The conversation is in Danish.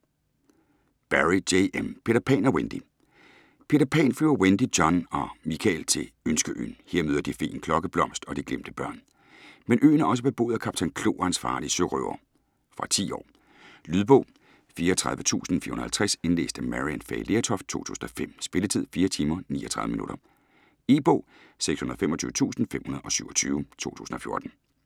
Barrie, J. M.: Peter Pan og Wendy Peter Pan flyver Wendy, John og Michael til Ønskeøen. Her møder de feen Klokkeblomst og de glemte børn. Men øen er også beboet af Kaptajn Klo og hans farlige sørøvere. Fra 10 år. Lydbog 34450 Indlæst af Maryann Fay Lertoft, 2005. Spilletid: 4 timer, 39 minutter. E-bog 625527 2014.